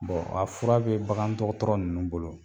a fura bɛ bagan dɔgɔtɔrɔ nunnu bolo.